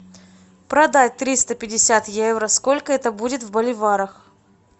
продать триста пятьдесят евро сколько это будет в боливарах